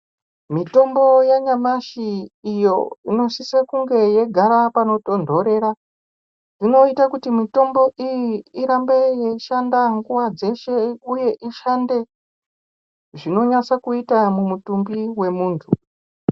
Mitombo yanyamashi iyo inosise kunge yeigara panotondorera inoite kuti mitombo iyi irambe yeishande nguva dzeshe uye ishande zvinonyatsokuita mumutumbi wemuntu.